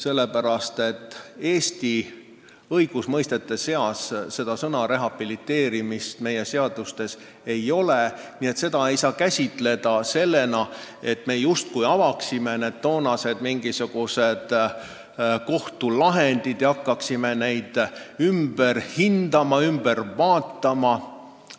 Eesti seadustes sõna "rehabiliteerimine" ei ole, nii et seda sammu ei saa käsitada sellena, et me justkui avame vanad kohtuasjad ja hakkame neid lahendeid ümber hindama.